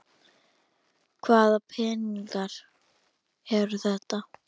Hvaða peningar eru þetta?